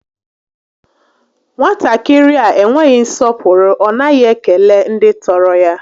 Nwatakịrị a enweghị nsọpụrụ, ọ naghị ekele ndị tọrọ ya